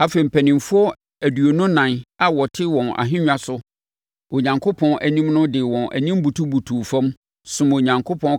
Afei, mpanimfoɔ aduonu ɛnan a wɔte wɔn ahennwa so Onyankopɔn anim no de wɔn anim butubutu fam, somm Onyankopɔn,